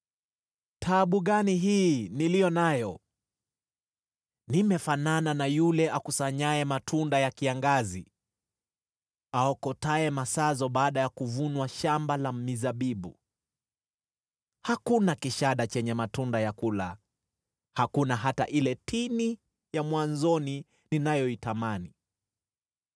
Taabu gani hii niliyo nayo! Nimefanana na yule akusanyaye matunda ya kiangazi, aokotaye masazo baada ya kuvunwa shamba la mizabibu; hakuna kishada chenye matunda ya kula, hakuna hata ile tini ya mwanzoni ninayoitamani.